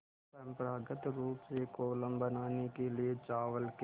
परम्परागत रूप से कोलम बनाने के लिए चावल के